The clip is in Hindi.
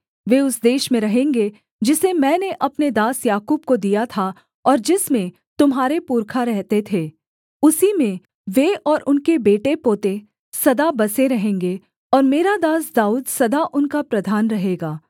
वे उस देश में रहेंगे जिसे मैंने अपने दास याकूब को दिया था और जिसमें तुम्हारे पुरखा रहते थे उसी में वे और उनके बेटेपोते सदा बसे रहेंगे और मेरा दास दाऊद सदा उनका प्रधान रहेगा